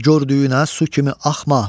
hər gördüyünə su kimi axma.